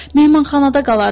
Mehmanxanada qalardım.